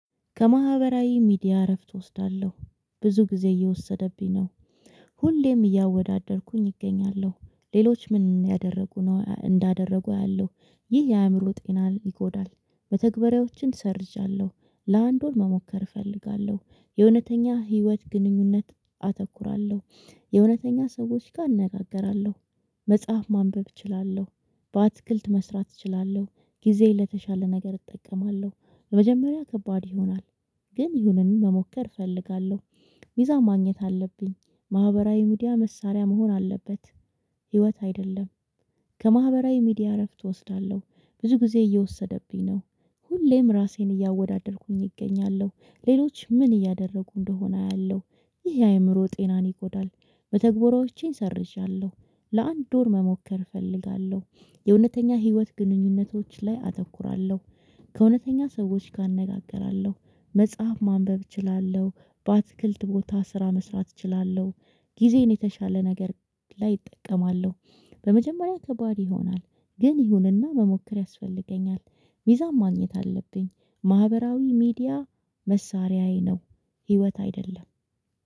ከማህበራዊ ሚዲያ እረፍት እወስዳለሁ ብዙ ጊዜ እየወሰደብኝ ነው። ሁሌም እያወዳደርኩኝ እገኛለሁ ሌሎች ምን ያደረጉ ነው እንዳደረጉ አያለሁ ይህ የአእምሮ ጤናን ይጎዳል። መተግባራዎችን ሰርዣለሁ። ለአንድ ወር መሞከር እፈልጋለሁ የእውነተኛ ህይወት ግንኙነት አተኩራለሁ። የእውነተኛ ሰዎች ጋር እነጋገራለሁ። መጽሐፍ ማንበብ እችላለሁ። በአትክልት መስራት እችላለሁ። ጊዜ ለተሻለ ነገር እጠቀማለሁ። መጀመሪያ ከባድ ይሆናል። ግን ይሁንን መሞከር እፈልጋለሁ። ሚዛን ማግኘት አለብኝ ማህበራዊ ሚዲያ መሳሪያ መሆን አለበት። ህይወት አይደለም። ከማህበራዊ ሚዲያ እረፍት እወስዳለሁ ብዙ ጊዜ እየወሰደብኝ ነው። ሁሌም ራሴን እያወዳደርኩኝ እገኛለሁ ሌሎች ምን እያደረጉ እንደሆነ አያለሁ ይሄ አእምሮ ጤናን ይጎዳል። በተግባራዎቼን ሰርዣለሁ። ለአንድ ወር መሞከር እፈልጋለሁ የእውነተኛ ህይወት ግንኙነቶች ላይ አተኩራለሁ። ከእውነተኛ ሰዎች ጋር እነጋገራለሁ። መጽሐፍ ማንበብ እችላለሁ። በአትክልት ቦታ ስራ መስራት እችላለሁ። ጊዜን የተሻለ ነገር ላይ እጠቀማለሁ። በመጀመሪያ ከባድ ይሆናል። ግን ይሁንና መሞከር ያስፈልገኛል። ሚዛም ማግኘት አለብኝ። ማህበራዊ ሚዲያ መሳሪያዬ ነው። ህይወት አይደለም።